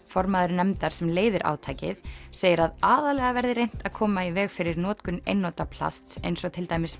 formaður nefndar sem leiðir átakið segir að aðallega verði reynt að koma í veg fyrir notkun einnota plasts eins og til dæmis